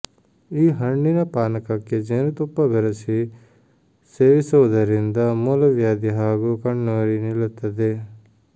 ಈ ಹಣ್ಣಿನ ಪಾನಕಕ್ಕೆ ಜೇನುತುಪ್ಪ ಬೆರೆಸಿ ಸೇವಿಸುವುದರಿಂದ ಮೂಲವ್ಯಾಧಿ ಹಾಗೂ ಕಣ್ಣುರಿ ನಿಲ್ಲುತ್ತದೆ